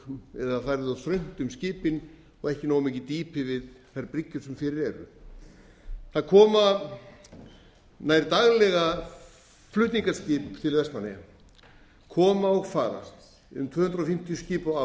yrði of þröngt um skipin og ekki nógu mikið dýpi við þær bryggjur sem fyrir eru það koma nær daglega flutningaskip til vestmannaeyja koma og fara um tvö hundruð fimmtíu skip á